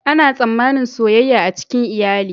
Ana tsammanin soyayya a cikin iyali.